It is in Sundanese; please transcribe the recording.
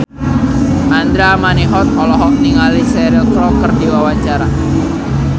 Andra Manihot olohok ningali Cheryl Crow keur diwawancara